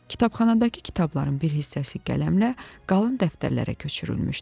Kitabxanadakı kitabların bir hissəsi qələmlə qalın dəftərlərə köçürülmüşdü.